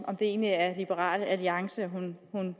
om det egentlig er liberal alliance hun